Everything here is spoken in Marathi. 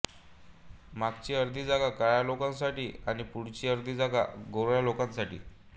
मागची अर्धी जागा काळ्या लोकांसाठी आणि पुढची अर्धी जागा गोऱ्या लोकांसाठी